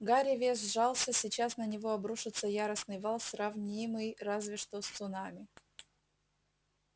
гарри весь сжался сейчас на него обрушится яростный вал сравнимый разве что с цунами